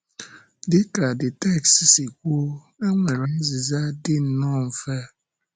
Dị ka the text si kwuo, e nwere azịza dị nnọọ mfe.